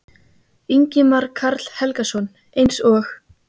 Ingimar Karl Helgason: Eins og?